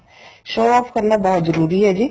show off ਕਰਨਾ ਬਹੁਤ ਜਰੂਰੀ ਏ ਜੀ